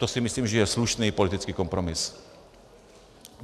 To si myslím, že je slušný politický kompromis.